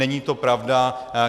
Není to pravda.